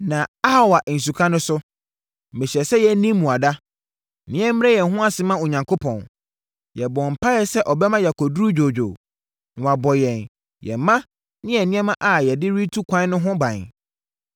Na Ahawa Nsuka no so, mehyɛɛ sɛ yɛnni mmuada, na yɛmmrɛ yɛn ho ase mma Onyankopɔn. Yɛbɔɔ mpaeɛ sɛ ɔbɛma yɛakɔduru dwoodwoo, na wabɔ yɛn, yɛn mma ne yɛn nneɛma a yɛde rebɛtu kwan no ho ban.